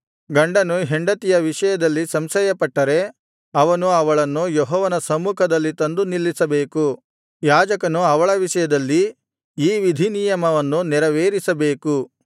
ಗಂಡನು ಹೆಂಡತಿಯ ವಿಷಯದಲ್ಲಿ ಸಂಶಯ ಪಟ್ಟರೆ ಅವನು ಅವಳನ್ನು ಯೆಹೋವನ ಸಮ್ಮುಖದಲ್ಲಿ ತಂದು ನಿಲ್ಲಿಸಬೇಕು ಯಾಜಕನು ಅವಳ ವಿಷಯದಲ್ಲಿ ಈ ವಿಧಿನಿಯಮವನ್ನು ನೆರವೇರಿಸಬೇಕು